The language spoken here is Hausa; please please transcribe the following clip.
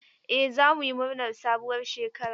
Eh za mu yi murnar sabuwar shekara.